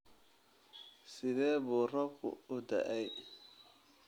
Sidee buu roobku u da'ay?